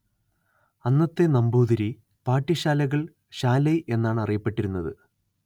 അന്നത്തെ നമ്പൂതിരി പാഠ്യശാലകൾ ശാലൈ എന്നാണ് അറിയപ്പെട്ടിരുന്നത്